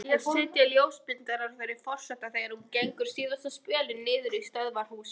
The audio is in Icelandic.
Hér sitja ljósmyndarar fyrir forseta þegar hún gengur síðasta spölinn niður í stöðvarhús.